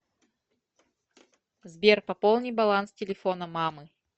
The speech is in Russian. сбер пополни баланс телефона мамы